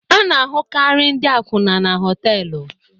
A na-ahụkarị ndị akwụna na họtelu.